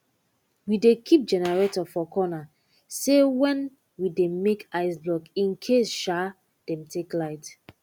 we dey keep generator for corner um wen we dey make ice block in case um dem take light